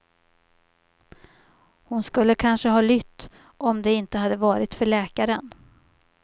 Hon skulle kanske ha lytt om det inte hade varit för läkaren.